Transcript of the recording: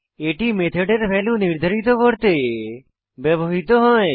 এটি মেথডের ভ্যালু নির্ধারিত করতে ব্যবহৃত হয়